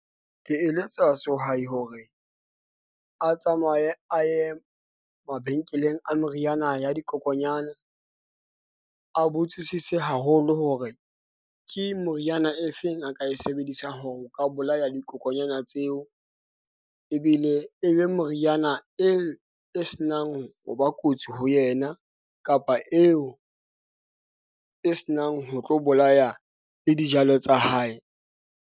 Ke eletsa sehwai hore a tsamaye a ye mabenkeleng a meriana ya dikokonyana. A botsisise haholo hore ke moriana e feng a ka e sebedisa ho ka bolaya dikokonyana tseo ebile e be moriana e e senang ho ba kotsi ho yena, kapa eo e senang ho tlo bolaya le dijalo tsa hae.